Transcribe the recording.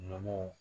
Nɔgɔ